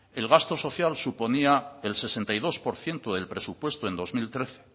el gasto social suponía el sesenta y dos por ciento del presupuesto en dos mil trece